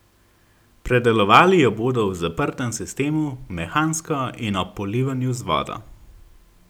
Predelovali jo bodo v zaprtem sistemu, mehansko in ob polivanju z vodo.